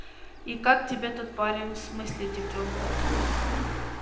и как тебе тот парень в смысле девчонка